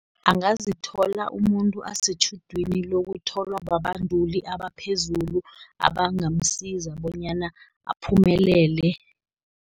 Angazithola umuntu asetjhudwini lokutholwa babanduli abaphezulu, abangamsiza bonyana aphumelele.